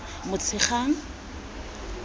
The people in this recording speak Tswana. motshegang